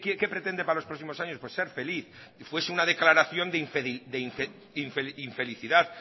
qué pretende para los próximos años pues ser feliz si fuese una declaración de infelicidad